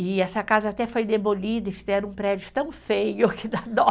E essa casa até foi demolida e fizeram um prédio tão feio que dá dó.